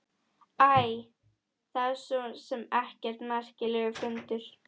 Æ, það er svo sem ekkert merkilegur fundur.